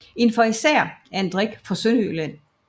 En farisæer er en drik fra Sønderjylland